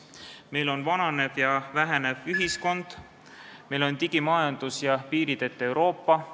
Meil on vananev ja vähenev ühiskond, meil on digimajandus ja piirideta Euroopa.